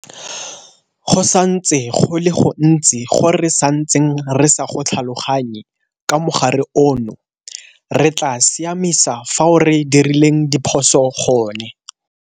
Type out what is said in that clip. Go santse go le go gontsi go re santseng re sa go tlhaloganye ka mogare ono. Re tla siamisa fao re dirileng diphoso gone.